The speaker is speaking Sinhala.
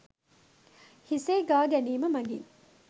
හිසෙහි ගා ගැනීම මගින්